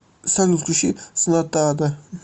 салют включи снатада